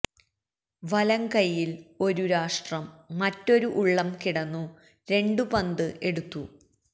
വലങ്കയ്യിൽ ഒരു രാഷ്ട്രം മറ്റൊരു ഉള്ളം കിടന്നു രണ്ട് പന്ത് എടുത്തു